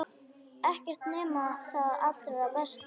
Ekkert nema það allra besta.